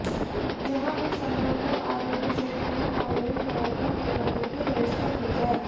जहां भी संभव हो आरोग्य सेतु एप डाउनलोड कराकर निगरानी की व्यवस्था की जाए